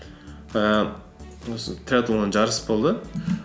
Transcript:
ііі осы триатлоннан жарыс болды